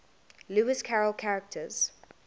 lewis carroll characters